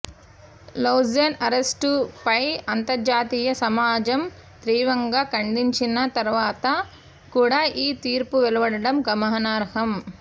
Loujain అరెస్ట్పై అంతర్జాతీయ సమాజం తీవ్రంగా ఖండించిన తర్వాత కూడా ఈ తీర్పు వెలువడటం గమనార్హం